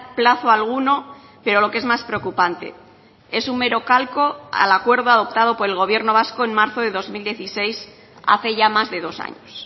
plazo alguno pero lo que es más preocupante es un mero calco al acuerdo adoptado por el gobierno vasco en marzo de dos mil dieciséis hace ya más de dos años